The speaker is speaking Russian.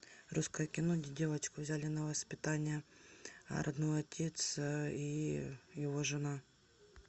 русское кино где девочку взяли на воспитание родной отец и его жена